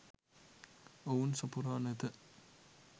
ඔවුන් සපුරා නැත.